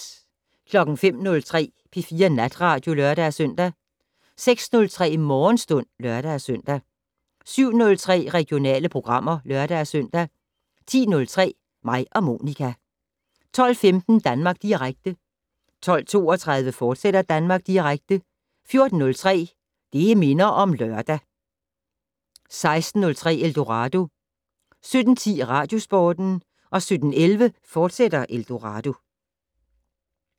05:03: P4 Natradio (lør-søn) 06:03: Morgenstund (lør-søn) 07:03: Regionale programmer (lør-søn) 10:03: Mig og Monica 12:15: Danmark Direkte 12:32: Danmark Direkte, fortsat 14:03: Det' Minder om Lørdag 16:03: Eldorado 17:10: Radiosporten 17:11: Eldorado, fortsat